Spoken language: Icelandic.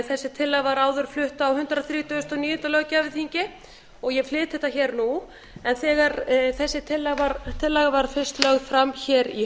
þessi tillaga var áður flutt á hundrað þrítugasta og níunda löggjafarþingi og ég flyt þetta hér nú en þegar þessi tillaga var fyrst lögð fram hér í